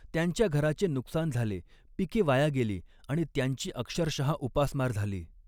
त्यांच्या घराचे नुकसान झाले, पिके वाया गेली आणि त्यांची अक्षरशः उपासमार झाली.